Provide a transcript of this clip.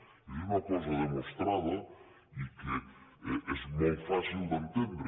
i això és una cosa demostrada i que és molt fàcil d’entendre